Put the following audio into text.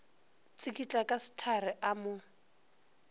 tsikitla ka sehlare a mo